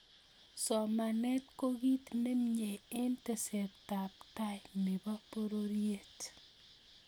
somanet ko kit nemyee eng tesetab tai ne bo pororiet.